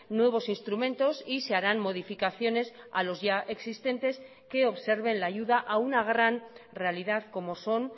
nuevos instrumentos y se harán modificaciones a los ya existentes que observen la ayuda a una gran realidad como son